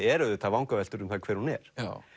eru auðvitað vangaveltur um það hver hún er